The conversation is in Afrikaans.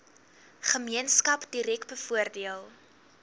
gemeenskap direk bevoordeel